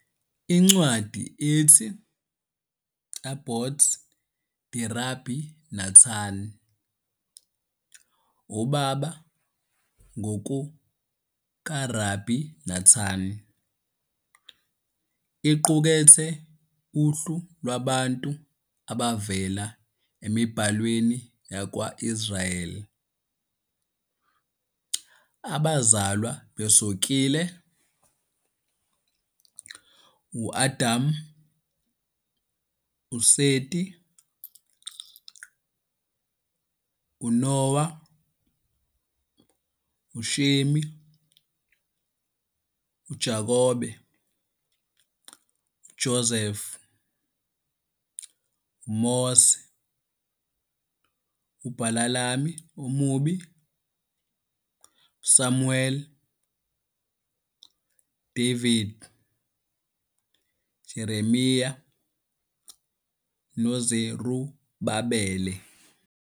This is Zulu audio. Incwadi ethi Abot De-Rabbi Natan, Obaba NgokukaRabi Nathan, iqukethe uhlu lwabantu abavela emiBhalweni yakwa-Israyeli "abazalwa besokile"- U-Adam, uSeti, uNowa, uShemi, uJakobe, uJoseph, uMose, uBhalami omubi, uSamuweli, David, Jeremiah noZerubabele.